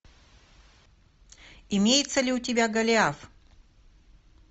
имеется ли у тебя голиаф